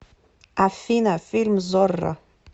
афина фильм зорро